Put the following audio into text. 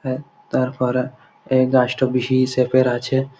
হ্যাঁ তারপরে এই গাছটা ভি শেপ -এর আছে--